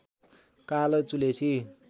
कालो चुलेसी